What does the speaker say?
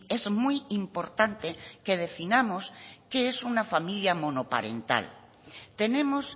es muy importante que definamos qué es una familia monoparental tenemos